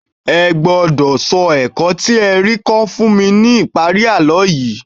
Ẹ gbọ́dọ̀ sọ ẹ̀kọ́ tí ẹ rí kọ́ fún mi ní ìparí àlọ́ yìí